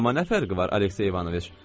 Amma nə fərqi var, Aleksey İvanoviç?